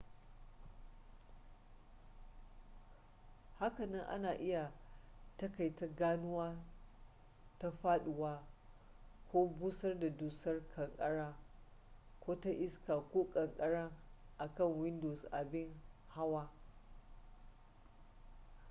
hakanan ana iya taƙaita ganuwa ta faɗuwa ko busar da dusar ƙanƙara ko ta iska ko kankara akan windows abin hawa